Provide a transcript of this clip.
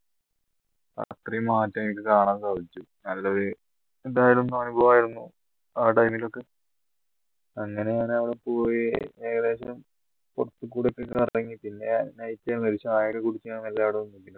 രാത്രി മാറ്റം എനിക്ക് കാണാൻ സാധിച്ചു നല്ലൊരു എന്തായാലും അനുഭവം ആയിരുന്നു ഒക്കെ അങ്ങനെ ഞാൻ അവിടെ പോയി ഏകദേശം കുറച്ചു കൂടെയൊക്കെ കറങ്ങിയിട്ട് ഞാന് ഒരു ചായ എല്ലാം കുടി